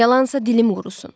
Yalansa dilim qurusun.